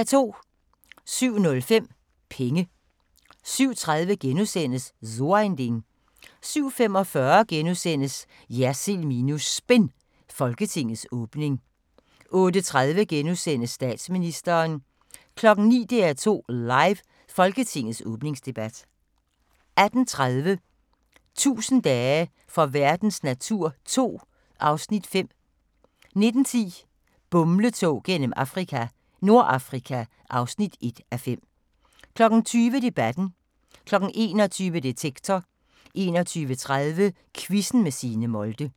07:05: Penge 07:30: So ein Ding * 07:45: JERSILD minus SPIN – Folketingets åbning * 08:30: Statsministeren * 09:00: DR2 Live: Folketingets åbningsdebat 18:30: 1000 dage for verdens natur 2 (Afs. 5) 19:10: Bumletog gennem Afrika - Nordafrika (1:5) 20:00: Debatten 21:00: Detektor 21:30: Quizzen med Signe Molde